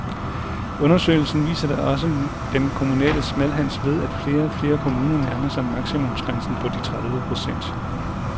Undersøgelsen viser da også den kommunale smalhans ved, at flere og flere kommuner nærmer sig maksimumsgrænsen på de tredive procent.